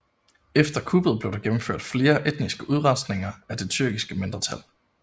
Efter kuppet blev der gennemført flere etniske udrensninger af det tyrkiske mindretal